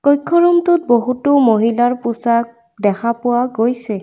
কক্ষ ৰুম টোত বহুতো মহিলাৰ পোছাক দেখা পোৱা গৈছে।